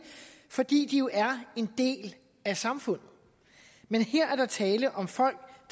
fordi de er en del af samfundet men her er der tale om folk